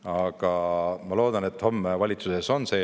Aga ma loodan, et homme on see eelnõu valitsuses.